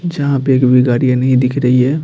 जहां पे एक भी गाड़ियां नहीं दिख रही है।